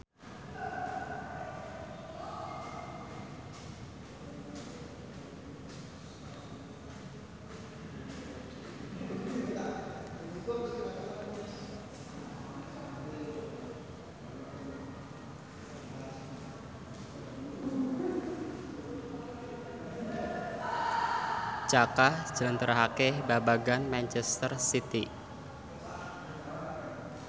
Jaka njlentrehake babagan manchester city